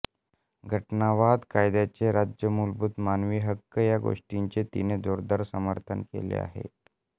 घटनावाद कायद्याचे राज्य मूलभूत मानवी हक्क या गोष्टींचे तिने जोरदार समर्थन केले आहे